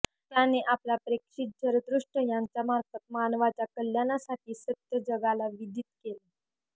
त्याने आपला प्रेषित झरतृष्ट यांच्यामार्फत मानवाच्या कल्याणासाठी सत्य जगाला विदित केले